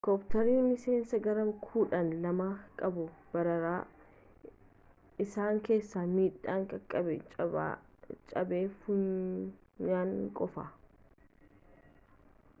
helekoptarootni miiseensa garee kudhaa lama qabu baraare isaan keessaa miidhaan qaqabee caba funyaanii qofa